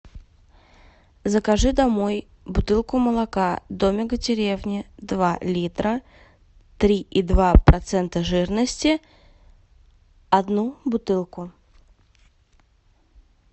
закажи домой бутылку молока домик в деревне два литра три и два процента жирности одну бутылку